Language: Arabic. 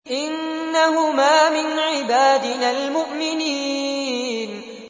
إِنَّهُمَا مِنْ عِبَادِنَا الْمُؤْمِنِينَ